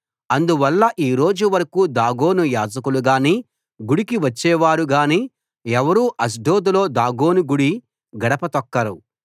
అందువల్ల ఈ రోజు వరకూ దాగోను యాజకులుగాని గుడికి వచ్చేవారు గానీ ఎవరూ అష్డోదులో దాగోను గుడి గడప తొక్కరు